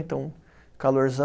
Então, calorzã